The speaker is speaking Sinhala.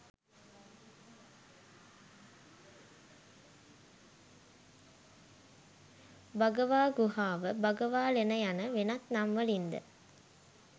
භගවා ගුහාව, භගවාලෙන යන වෙනත් නම් වලින් ද